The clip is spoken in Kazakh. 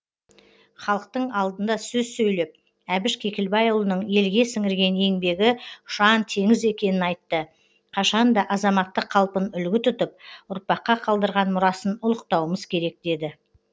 халықтың алдында сөз сөйлеп әбіш кекілбайұлының елге сіңірген еңбегі ұшан теңіз екенін айтты қашан да азаматтық қалпын үлгі тұтып ұрпаққа қалдырған мұрасын ұлықтауымыз керек деді